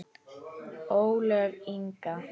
Ólöf Inga.